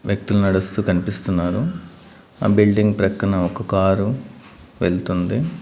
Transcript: వ్యక్తులు నడుస్తూ కనిపిస్తున్నారు ఆ బిల్డింగ్ ప్రక్కన ఒక కారు వెళ్తుంది.